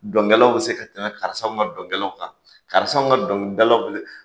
Dɔnkɛlaw bɛ se ka tɛmɛ karisaw ka dɔnkɛlaw kan karisaw ka dɔnkilidalaw bɛ se